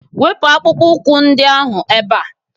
Wepu akpụkpọ ụkwụ ndị ahụ ebe.!